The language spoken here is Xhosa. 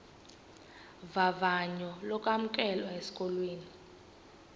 vavanyo lokwamkelwa esikolweni